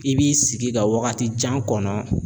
I b'i sigi ka wagati jan kɔnɔ